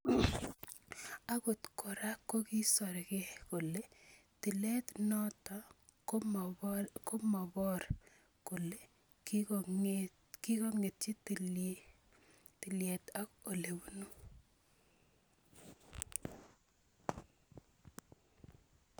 Agot kora kokisorke kole tilet noto komobor kole kikongeti tiliet ak olebunu.